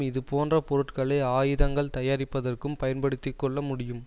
இதுபோன்ற பொருட்களை ஆயுதங்கள் தயாரிப்பதற்கும் பயன்படுத்தி கொள்ள முடியும்